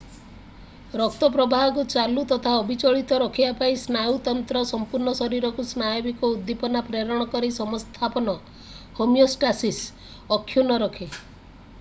ରକ୍ତ ପ୍ରବାହକୁ ଚାଲୁ ତଥା ଅବିଚଳିତ ରଖିବା ପାଇଁ ସ୍ନାୟୁତନ୍ତ୍ର ସମ୍ପୂର୍ଣ୍ଣ ଶରୀରକୁ ସ୍ନାୟବିକ ଉଦ୍ଦୀପନା ପ୍ରେରଣ କରି ସମସ୍ଥାପନ ହୋମିଓଷ୍ଟାସିସ୍‍ ଅକ୍ଷୁଣ୍ଣ ରଖେ।